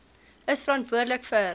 is verantwoordelik vir